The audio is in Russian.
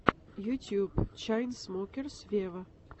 ютуб чайнсмокерс вево